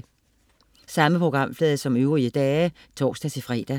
Samme programflade som øvrige dage (tors-fre)